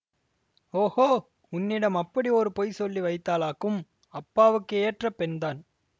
ஓஹோ உன்னிடம் அப்படி ஒரு பொய் சொல்லி வைத்தாளாக்கும் அப்பாவுக்கு ஏற்ற பெண்தான்